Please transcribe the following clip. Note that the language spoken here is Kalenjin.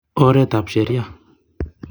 Oret ab sheria.